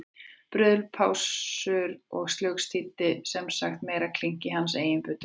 Bruðl, pásur og slugs þýddu sem sagt meira klink í hans eigin buddu.